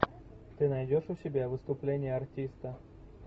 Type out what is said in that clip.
ты найдешь у себя выступление артиста